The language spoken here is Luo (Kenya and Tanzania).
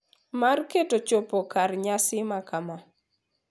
Mar keto chopo kare nyasi makama.